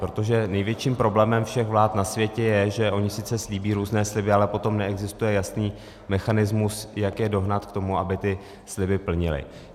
Protože největším problémem všech vlád na světě je, že ony sice slíbí různé sliby, ale potom neexistuje jasný mechanismus, jak je dohnat k tomu, aby ty sliby plnily.